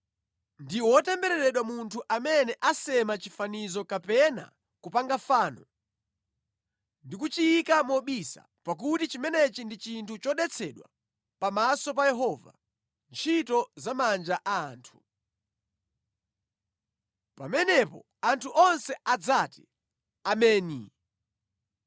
“Ndi wotembereredwa munthu amene asema chifanizo kapena kupanga fano, ndi kuchiyika mobisa, pakuti chimenechi ndi chinthu chodetsedwa pamaso pa Yehova, ntchito za manja a anthu.” Pamenepo anthu onse adzati, “Ameni!”